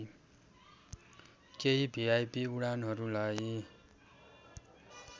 केही भिआइपी उडानहरूलाई